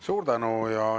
Suur tänu!